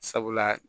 Sabula